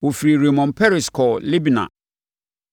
Wɔfirii Rimon Peres kɔɔ Libna.